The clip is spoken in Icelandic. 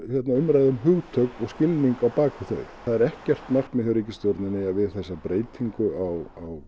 umræða um hugtök og skilning á bak við þau það er ekkert markmið hjá ríkisstjórninni að við þessa breytingu á